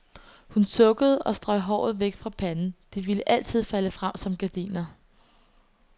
Hun sukkede og strøg håret væk fra panden, det ville altid falde frem som gardiner.